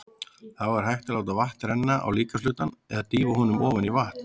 Þá er hægt að láta vatn renna á líkamshlutann eða dýfa honum ofan í vatn.